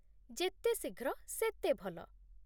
ଯେତେ ଶୀଘ୍ର, ସେତେ ଭଲ।